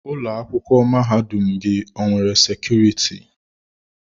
Ụlọ akwụkwọ mahadum gị o nwere sekuriti?